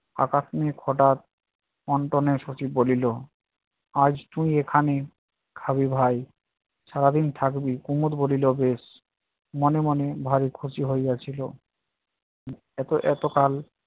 হটাৎ অন্তনের সহিত বলিল আজ তুই এখানে খাবি ভাই সারাদিন থাকবি। কুমদ বলিল বেশ, মনে মনে ভারি খুশি হইয়াছিল। এত এত কাল